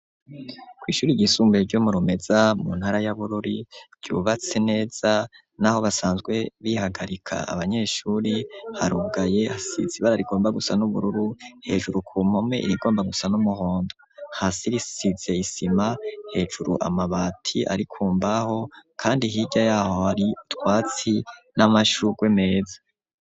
Kw' ishuri ryisumbaye ryomurumeza ,mu ntara y'abururi, ryubatse neza n'aho basanzwe bihagarika abanyeshuri harugaye hasizibara rigomba gusa n'ubururu ,hejuru ku mome irigomba gusa n'umuhondo, hasi risize isima, hejuru amabati arikumbaho kandi hirya yaho hari twatsi n'amashugwe meza.